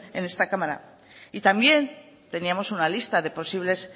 en esta cámara y también teníamos una lista de posibles